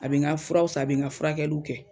A bɛ n ka furaw san, a bɛ n ka furakɛliw kɛ.